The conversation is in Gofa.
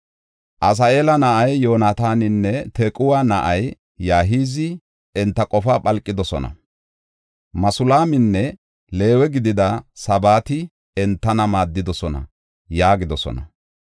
Asaheela na7ay Yoonataaninne Tequwa na7ay Yahizi enta qofaa phalqidosona; Masulaaminne Leewe gidida Sabati entana maaddidosona” yaagidosona.